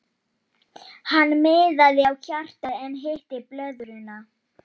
Hann miðaði á hjartað en hitti blöðruna.